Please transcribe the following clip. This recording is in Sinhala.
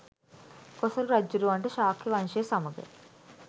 කොසොල් රජ්ජුරුවන්ට ශාක්‍ය වංශය සමඟ